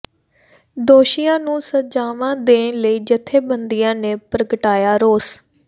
ਦੋਸ਼ੀਆਂ ਨੂੰ ਸਜਾਵਾਂ ਦੇਣ ਲਈ ਜਥੇਬੰਦੀਆਂ ਨੇ ਪ੍ਰਗਟਾਇਆ ਰੋਸ